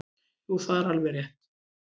Jú það er alveg rétt.